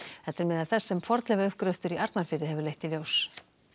þetta er meðal þess sem fornleifauppgröftur í Arnarfirði hefur leitt í ljós